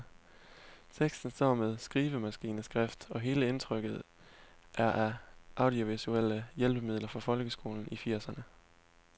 Teksten står med skrivemaskineskrift, og hele indtrykket er af audiovisuelle hjælpemidler fra folkeskolen i firserne.